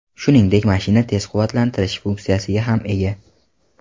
Shuningdek, mashina tez quvvatlantirish funksiyasiga ham ega.